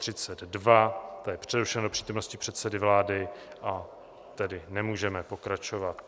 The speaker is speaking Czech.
Ta je přerušena do přítomnosti předsedy vlády, a tedy nemůžeme pokračovat.